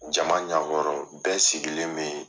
Jama ɲɛkɔrɔ bɛɛ sigilen bɛ yen.